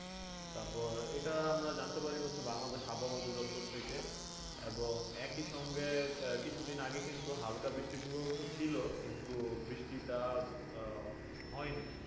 তারপর ইটা আমরা জানতে পারি হচ্ছে বাংলাদেশ আবহাওয়া অধিদপ্তর থেকে এবং একি সঙ্গে কিছুদিন আগে হাল্কা বৃষ্টির পূর্বাভাসও ছিল কিন্তু বৃষ্টিটা আহ হয়নি।